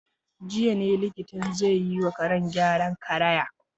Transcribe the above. Jiya ne likitan zai yi wa karen gyaran karaya.